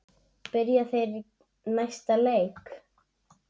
Byrja þeir næsta leik?